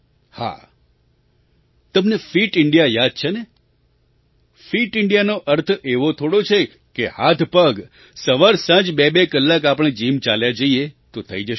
હા તમને fit India યાદ છે ને ફિટ ઇન્ડિયાનો અર્થ એવો થોડો છે કે હાથપગસવાર સાંજ બેબે કલાક આપણે જિમ ચાલ્યા જઈએ તો થઈ જશે